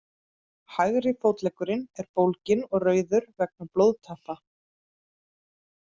Hægri fótleggurinn er bólginn og rauður vegna blóðtappa.